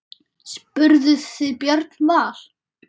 Spurðuð þið Björn Val?